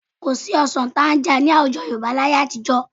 Kò sí ọsàn tanga ní àwùjọ Yorùbá láyé àtijọ́